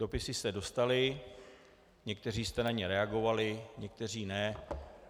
Dopisy jste dostali, někteří jste na ně reagovali, někteří ne.